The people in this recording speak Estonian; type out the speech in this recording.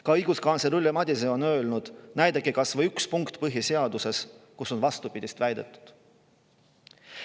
Ka õiguskantsler Ülle Madise on öelnud, et näidake talle kas või ühte punkti põhiseaduses, kus on vastupidist väidetud.